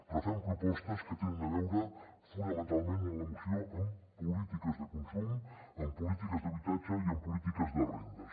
però fem propostes que tenen a veure fonamentalment a la moció amb polítiques de consum amb polítiques d’habitatge i amb polítiques de rendes